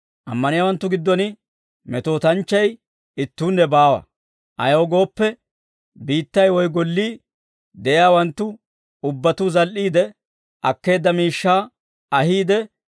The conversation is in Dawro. Ammaniyaawanttu giddon metootanchchay ittuunne baawa; ayaw gooppe, biittay woy gollii de'iyaawanttu ubbatuu zal"iide, akkeedda miishshaa ahiide,